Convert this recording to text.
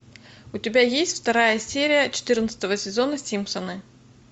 у тебя есть вторая серия четырнадцатого сезона симпсоны